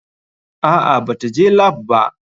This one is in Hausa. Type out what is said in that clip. Aa bata je lap ba.